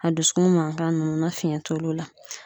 A dusukun mankan ninnu na fiɲɛ t'olu la